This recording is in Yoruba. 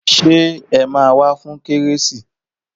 Ṣé ẹ máa wá fún kérésì